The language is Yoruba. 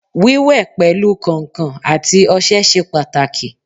Wíwẹ̀ pẹ̀lu kàǹkàn àti ọṣẹ ṣe pàtàkì